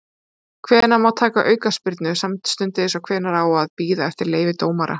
Hvenær má taka aukaspyrnu samstundis og hvenær á að bíða eftir leyfi dómara?